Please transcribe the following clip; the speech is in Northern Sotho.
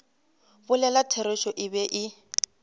bolela therešo e be e